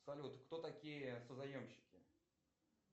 салют кто такие созаемщики